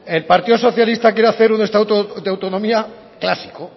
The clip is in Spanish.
el partido socialista quiere hacer un estatuto de autonomía clásico